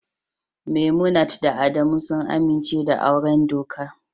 Memunant da Adamu sun amince da auren doka